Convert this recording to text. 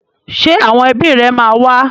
Ṣé àwọn ẹbí rẹ máa wá?